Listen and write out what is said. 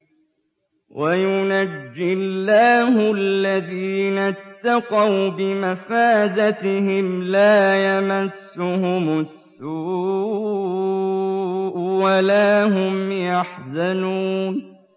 وَيُنَجِّي اللَّهُ الَّذِينَ اتَّقَوْا بِمَفَازَتِهِمْ لَا يَمَسُّهُمُ السُّوءُ وَلَا هُمْ يَحْزَنُونَ